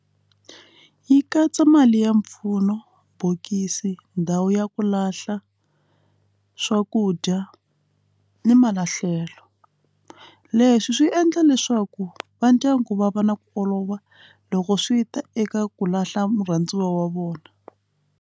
Yi katsa mali ya mpfuno bokisi ndhawu ya ku lahla swakudya ni mahlevo leswi swi endla leswaku va ndyangu va va na ku olova loko swi ta eka ku lahla murhandziwa wa vona.